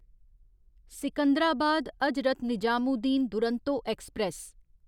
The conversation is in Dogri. सिकंदराबाद हजरत निजामुद्दीन दुरंतो ऐक्सप्रैस